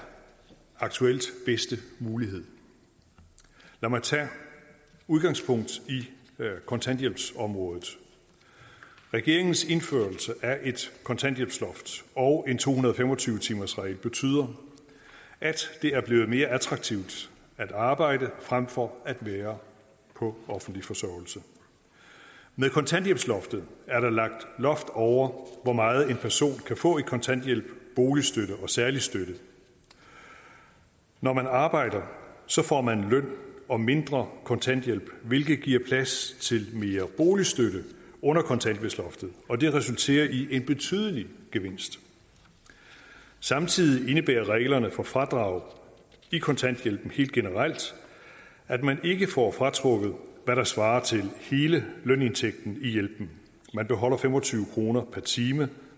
aktuelt bedste mulighed lad mig tage udgangspunkt i kontanthjælpsområdet regeringens indførelse af et kontanthjælpsloft og en to hundrede og fem og tyve timersregel betyder at det er blevet mere attraktivt at arbejde frem for at være på offentlig forsørgelse med kontanthjælpsloftet er der lagt loft over hvor meget en person kan få i kontanthjælp boligstøtte og særlig støtte når man arbejder får man løn og mindre kontanthjælp hvilket giver plads til mere boligstøtte under kontanthjælpsloftet og det resulterer i en betydelig gevinst samtidig indebærer reglerne for fradrag i kontanthjælpen helt generelt at man ikke får fratrukket hvad der svarer til hele lønindtægten i hjælpen man beholder fem og tyve kroner per time